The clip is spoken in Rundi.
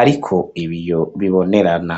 ariko ibiyo bibonerana.